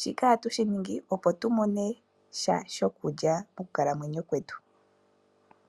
Shika oha tu shi ningi opo tu mone iipalutha mokukalamwenyo kwetu.